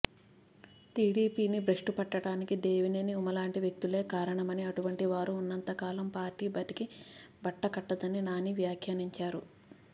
TDP బ్రష్టుపట్టడానికి దేవినేని ఉమాలాంటి వ్యక్తులే కారణమని అటువంటి వారు ఉన్నంత కాలం పార్టీ బతికి బట్టకట్టదని నాని వ్యాఖ్యానించారు